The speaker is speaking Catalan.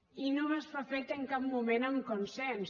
i no s’ha fet en cap moment amb consens